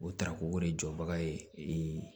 O tarako de jɔbaga ye